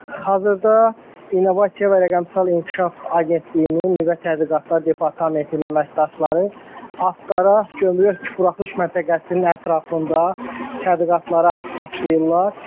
Hazırda İnnovasiya və Rəqəmsal İnkişaf Agentliyinin nüvə tədqiqatlar departamentinin əməkdaşları Astara Gömrük Buraxılış Məntəqəsinin ətrafında tədqiqatlara başlayırlar.